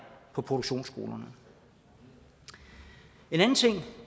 på produktionsskolerne en anden ting